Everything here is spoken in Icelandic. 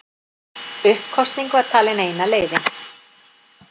Uppkosning var talin eina leiðin